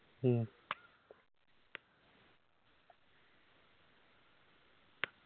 മ്മ്